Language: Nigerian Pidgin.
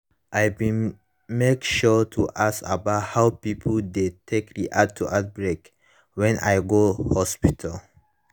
i been make sure to ask about how pipo dey take react to outbreak when i go hospital